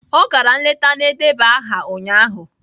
Ọ gara nleta na-edeba aha ụnyahụ